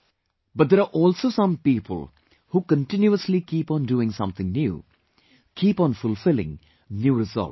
But there are also some people who continuously keep on doing something new, keep on fulfilling new resolves